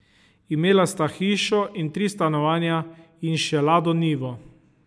Imela sta hišo in tri stanovanja in še lado nivo.